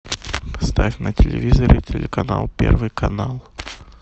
ставь на телевизоре телеканал первый канал